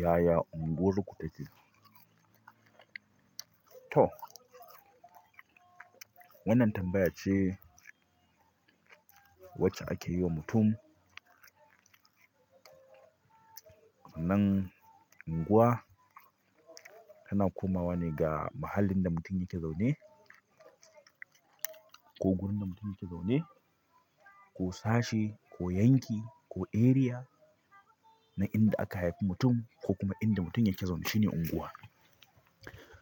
Yaya unguwar ku take? To. Wannan tambaya ce wacce ake yi wa mutum. Nan anguwa tana komawa ne ga muhallin da mutum yake zaune ko wurin da mutum yake zaune, ko sashi, ko yanki, ko area na inda aka haifi mutum ko kuma inda mutum yake zaune shine unguwa.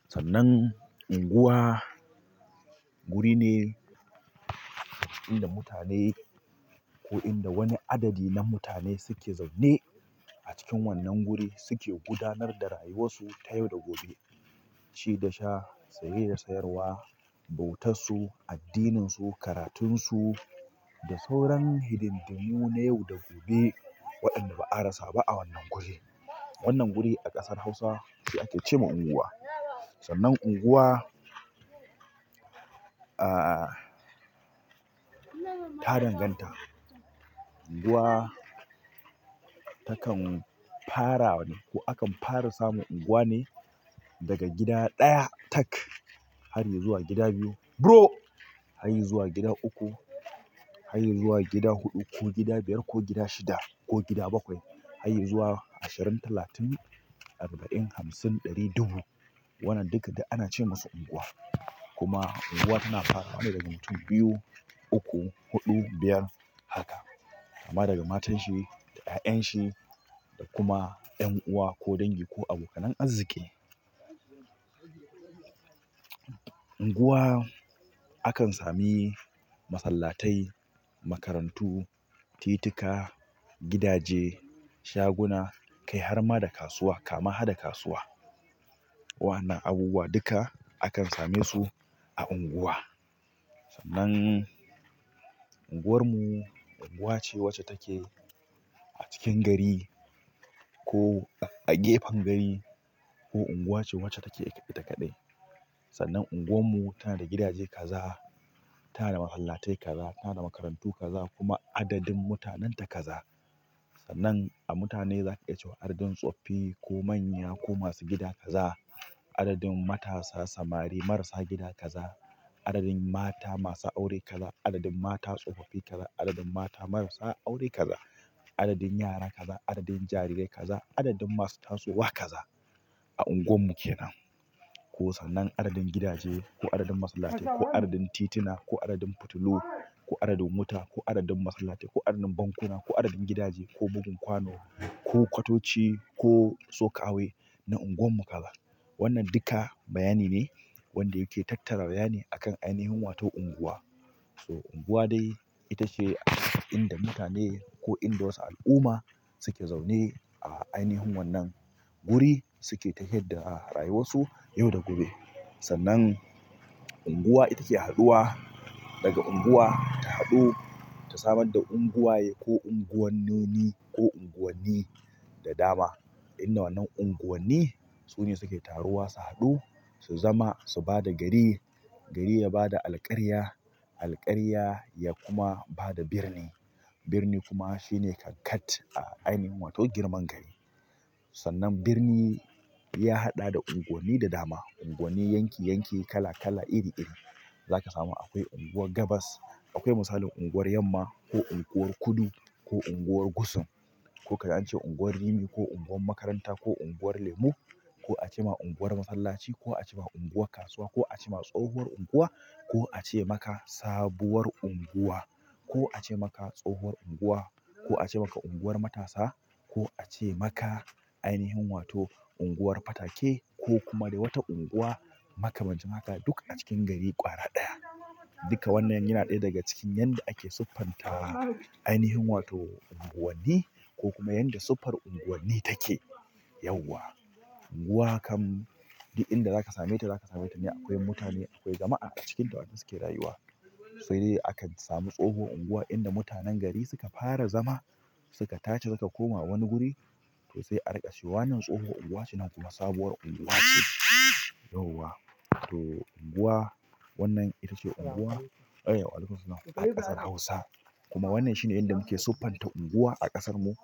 Sannan unguwa wuri ne inda mutane ko inda wani adadi na mutane suke zaune a cikin wannan guri suke gudanar da rayuwarsu ta yau da gobe. Ci da sha, saye da sayarwa, bautarsu, addininsu, karatunsu da sauran hidindimu na yau da gobe waɗanda ba a rasa ba a wannan guri. Wannan guri a ƙasar Hausa shi ake ce ma unguwa. Sannan unguwa, ah, ta danganta. Unguwa takan fara wani ko akan fara samu unguwa ne daga gida ɗaya tak har yayi zuwa gida biyu bro, har yayi zuwa gida uku, har ya zuwa gida huɗu ko gida biyar ko gida shida ko gida bakwai har ya zuwa ashirin, talatin, arba'in, hamsin, ɗari, dubu. Wannan duka da ana ce masu unguwa. Kuma unguwa tana fara wani daga mutum biyu, uku, huɗu, biyar haka. Kama daga matan shi, ƴaƴan shi da kuma ƴan uwa ko dangi ko abokanai azziki. Unguwa akan sami masallatai, makarantu, titika, gidaje, shaguna, kai har ma da kasuwa kama har da kasuwa. Waɗannan abubuwa duka akan same su a unguwa. Nan anguwar mu anguwa ce wacce take a cikin gari ko a gefen gari ko unguwa ce wacce take ita kaɗai sannan unguwar mu tana da gidaje kaza, tana da masallatai kaza, tana da makarantu kaza kuma adadin mutanen ta kaza. Sannan a mutane zaka iya cewa adadin tsoffi ko manya ko masu gida kaza, adadin matasa samari marasa gida kaza, adadin mata masu aure kaza, adadin mata tsofaffi kaza, adadin mata marasa aure kaza, adadin yara kaza, adadin jarirai kaza, adadin masu tasowa kaza a unguwar mu kenan. Ko sannan adadin gidaje ko adadin masallatai ko adadin tituna ko adadin fitilu ko adadin wuta ko adadin masallatai ko adadin bankuna ko adadin gidaje ko bugun kwano ko ƙwatoci ko sok away na unguwar mu kaza. Wannan duka bayani ne wanda yake tattara bayani akan ainihin wato unguwa. So unguwa dai ita ce inda mutane ko inda wasu al'umma suke zaune a ainihin wannan guri suke tahiyadda da rayuwarsu yau da gobe. Sannan unguwa ita ke haɗuwa daga unguwa ta haɗu ta samar da unguwaye ko unguwannoni ko unguwanni da dama. Inda wannan unguwanni su ne suke taruwa su haɗu su zama su bada gari, gari ya bada alƙarya, alƙarya ya kuma bada birni. Birni kuma shine kankat a ainihin wato girman gari. Sannan birni ya haɗa da unguwanni da dama. Unguwanni, yanki, yanki kala kala iri iri. Zaka samu akwai unguwar gabas. Akwai misalin unguwar yamma ko unguwar kudu ko unguwar gusum ko kaji ance unguwar rimi ko unguwar makaranta ko unguwar lemu ko ace ma unguwar masallaci ko ace ma unguwar kasuwa ko ace ma tsohuwar unguwa ko ace maka sabuwar unguwa ko ace maka tsohuwar unguwa ko ace maka unguwar matasa ko ace maka ainihin wato unguwar fatake ko kuma dai wata unguwa maka man cin haka duk a cikin gari ƙwara ɗaya. Duka wannan yana ɗaya daga cikin yadda ake siffanta ainihin wato unguwanni ko kuma yadda siffar unguwanni take yauwa. Unguwa kam, duk inda zaka same ta zaka same ta ne akwai mutane akwai jama'a a cikinta waɗanda suke rayuwa. Sai dai akan samu tsohuwar unguwa inda mutanen gari suka fara zama suka taci suka koma wani guri to sai a riƙa cewa wannan tsohuwar unguwa ce nan kuma sabuwar unguwa ce yauwa. To unguwa wannan ita ce unguwa a waalaiku mussalam a ƙasar Hausa. Kuma wannan shine yanda muke siffanta unguwa a ƙasarmu.